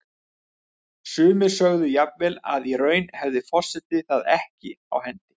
Sumir sögðu jafnvel að í raun hefði forseti það ekki á hendi.